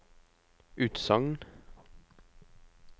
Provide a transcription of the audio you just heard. utsagn